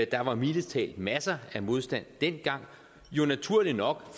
der var mildest talt masser af modstand dengang og naturligt nok